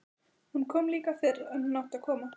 Hún kom líka fyrr en hún átti að koma.